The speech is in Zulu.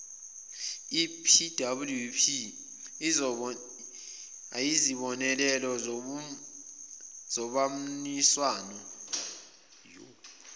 epwp ayizibonelo zobamniswano